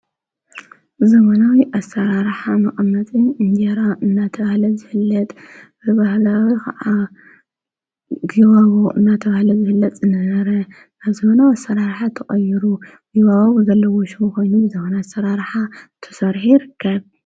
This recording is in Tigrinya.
ዘበናዊ ኣሰራርሓ መቐመጢ እንጀራ እናተባህለ ዝፍለጥ ብባህላዊ ከዓ ጊባቦ እናተባህለ ዝፍለጥ ዝነበረ ናብ ዘበናዊ ኣሰራርሓ ተቐይሩ ዘበናዊ ሽም ዘለዎ ኮይኑ ዘበናዊ ኣሰራርሓ ተሰሪሑ ይርከብ፡፡